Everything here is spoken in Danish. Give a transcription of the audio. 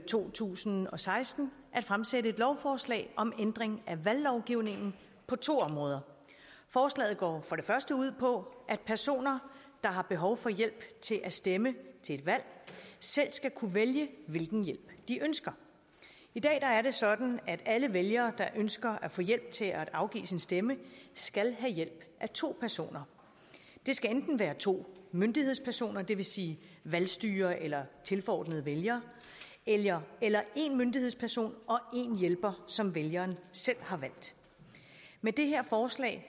to tusind og seksten at fremsætte et lovforslag om ændring af valglovgivningen på to områder forslaget går for det første ud på at personer der har behov for hjælp til at stemme til et valg selv skal kunne vælge hvilken hjælp de ønsker i dag er det sådan at alle vælgere der ønsker at få hjælp til at afgive sin stemme skal have hjælp af to personer det skal enten være to myndighedspersoner det vil sige valgstyrere eller tilforordnede vælgere eller eller en myndighedsperson og en hjælper som vælgeren selv har valgt med det her forslag